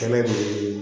Kɛnɛ ninnu